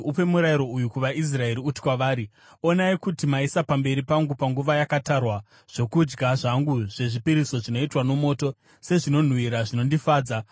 “Upe murayiro uyu kuvaIsraeri, uti kwavari, ‘Onai kuti maisa pamberi pangu panguva yakatarwa, zvokudya zvangu zvezvipiriso zvinoitwa nomoto, sezvinonhuhwira zvinondifadza.’